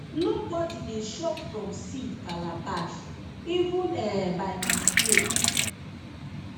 nobody dey chop from seed calabash even um by mistake